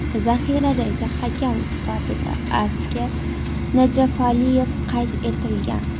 Zaxiradagi hakam sifatida Asker Najafaliyev qayd etilgan.